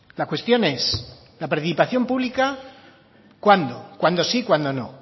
la cuestión es la participación pública cuándo cuándo sí y cuándo no